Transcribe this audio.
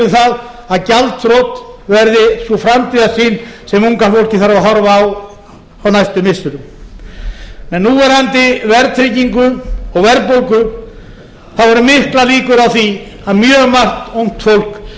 koma í veg fyrir að gjaldþrot verði sú framtíðarsýn sem unga fólkið þarf að horfa á á næstu missirum með núverandi verðtryggingu og verðbólgu eru miklar líkur á því að mjög margt ungt fólk